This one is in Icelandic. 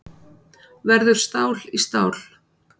Verður stál í stál